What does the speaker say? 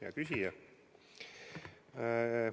Hea küsija!